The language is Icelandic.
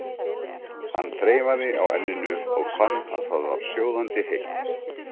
Hann þreifaði á enninu og fann að það var sjóðandi heitt.